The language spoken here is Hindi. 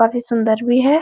काफी सुन्दर भी है ।